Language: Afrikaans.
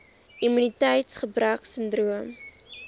immuniteits gebrek sindroom